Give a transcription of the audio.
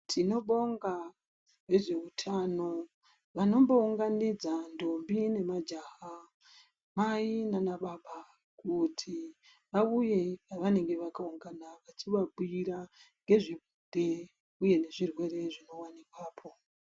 Tinobonga nezveutano vanombounganidza ndombi nemajaha, mai nanababa kuti vauye pavanenge vakaungana vachivabhuyira ngezvebonde uye nezvirwere zvinowanikwapo.